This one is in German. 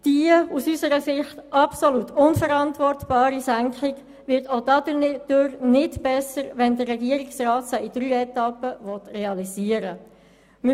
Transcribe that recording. Die aus unserer Sicht absolut unverantwortbare Senkung wird auch dadurch nicht besser, dass der Regierungsrat diese in drei Etappen realisieren will.